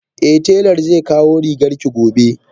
Eh telan zekawo rigarki gobe